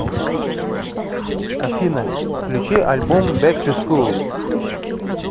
афина включи альбом бэк ту скул